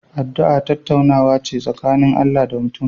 Addu'a tattaunawa ce tsakanin Allah da mutum